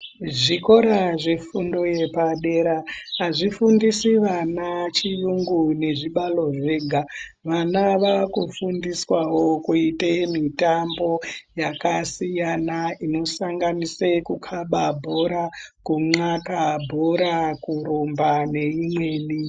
Zvikora zvefundo yepadera azvifundisi vana chiyungu nezvibalo zvega vana vakufundiswawo kuite mitambo yakasiyana inosanganise kukaba bhora kun'aka bhora kurumba neimweni.